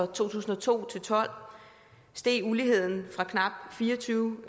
to tusind og to til tolv steg uligheden ginipoint fra knap fire og tyve